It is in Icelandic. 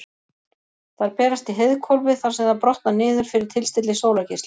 Þær berast í heiðhvolfið þar sem þær brotna niður fyrir tilstilli sólargeisla.